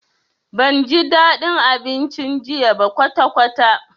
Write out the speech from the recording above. Banji dadin abincin jiya ba kwatakwata.